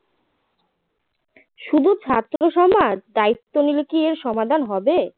শুধু ছাত্র সমাজ দায়িত্ব নিলে কী এর সমাধান হবে